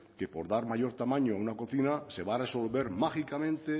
que por dar mayor tamaño a una cocina se va a resolver mágicamente